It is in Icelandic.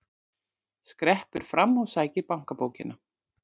Skreppur fram og sækir bankabókina.